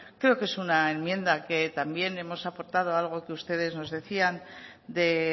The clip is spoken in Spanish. creo que es una enmienda que también hemos aportado algo que ustedes nos decían de